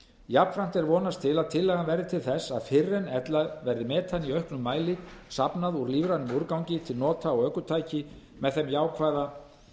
jafnframt er vonast til að tillagan verði til þess að fyrr en ella verði metani í auknu mæli safnað úr lífrænum úrgangi til nota á ökutæki með